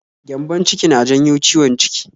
Gyambon-ciki na janyo ciwon ciki